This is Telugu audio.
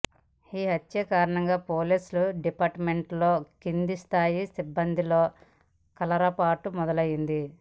ఈ హత్యల కారణంగా పోలీసు డిపార్ట్మెంట్లోని కిందిస్థాయి సిబ్బందిలో కలరపాటు మొదలైంది